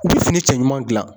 U bɛ fini cɛ ɲuman dilan.